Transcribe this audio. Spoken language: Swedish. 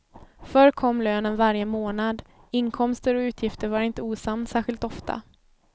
Förr kom lönen varje månad, inkomster och utgifter var inte osams särskilt ofta.